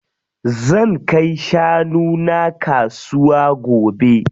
Zan kai shanu na kasuwa gobe.